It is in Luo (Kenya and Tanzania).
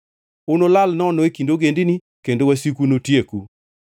Unulal nono e kind ogendini, kendo wasiku notieku.